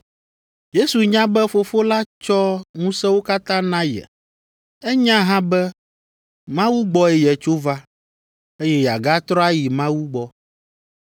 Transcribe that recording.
Yesu nya be Fofo la tsɔ ŋusẽwo katã na ye. Enya hã be Mawu gbɔe yetso va, eye yeagatrɔ ayi Mawu gbɔ.